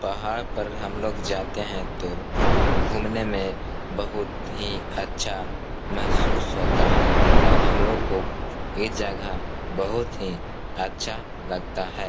पहाड़ पर हम लोग जाते हैं तो घूमने में बोहुत ही अच्छा मेहसूस होता है और हमलोग को ए जगह बोहुत ही अच्छा लगता है।